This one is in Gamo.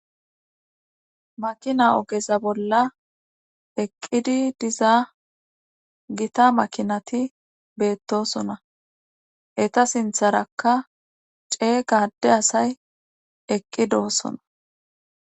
makina ogeza bolla eqqidi diza gita makinati beettosona eta sintharakka cee gadde asay eqqi doosona